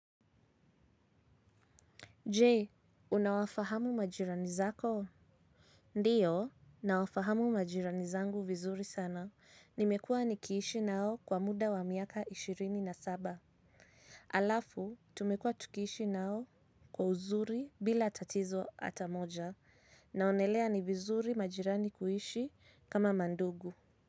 Jee, unawafahamu majirani zako? Ndiyo, nawafahamu majirani zangu vizuri sana. Nimekuwa nikiishi nao kwa muda wa miaka ishirini na saba. Alafu, tumekua tukiishi nao kwa uzuri bila tatizo ata moja. Naonelea ni vizuri majirani kuishi kama mandugu.